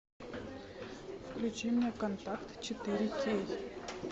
включи мне контакт четыре кей